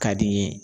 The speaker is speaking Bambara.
Ka di n ye